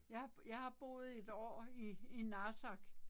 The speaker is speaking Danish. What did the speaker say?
Jeg har jeg har boet et år i i Narsaq